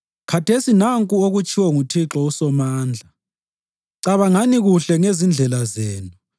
Khathesi nanku okutshiwo nguThixo uSomandla: “Cabangani kuhle ngezindlela zenu.